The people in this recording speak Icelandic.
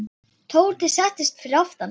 Tóti settist fyrir aftan.